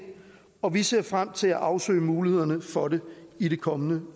og vi ser frem til at afsøge mulighederne for det i det kommende